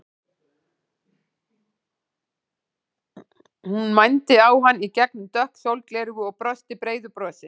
Hún mændi á hann í gegnum dökk sólgleraugu og brosti breiðu brosi.